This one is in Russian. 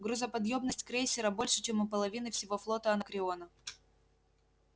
грузоподъёмность крейсера больше чем у половины всего флота анакреона